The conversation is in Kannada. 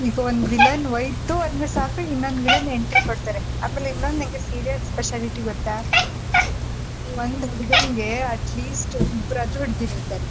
ಈಗ ಒಂದ್ villain ಹೋಯಿತು ಅಂದ್ರೆ ಸಾಕು ಇನ್ನೊಂದ್ villain entry ಕೊಡ್ತಾರೆ ಆಮೇಲ್ ಇನ್ನೊಂದ್ ನಿಂಗೆ serial specialty ಗೊತ್ತಾ ಹುಡ್ಗನಿಗೆ at least ಇಬ್ರಾದ್ರೂ ಹುಡ್ಗಿರ್ ಇರ್ತಾರೆ.